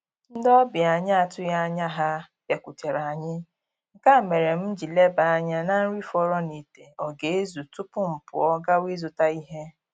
Ndị ọbịa anyị atụghị anya ha bịakutere anyị, nke a mere m ji leba anya na nri fọrọ n'ite ọ ga-ezu tupu m pụọ gawa ịzụta ihe